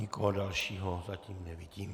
Nikoho dalšího zatím nevidím.